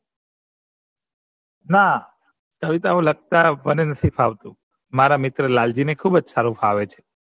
ના કવિતાઓ લખતા મને નહિ ફાવતું મારા મિત્ર લાલજી ને ખુબ સારું ફાવે છે